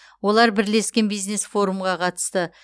олар бірлескен бизнес форумға қатысты